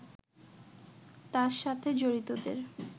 তার সাথে জড়িতদের